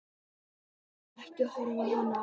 Ekki horfa á hana!